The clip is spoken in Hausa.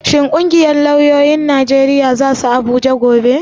Shin ƙungiyar lauyoyin Najeriya za su Abuja gobe?